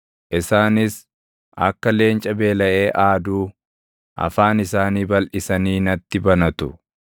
Isaanis akka leenca beelaʼee aaduu afaan isaanii balʼisanii natti banatu.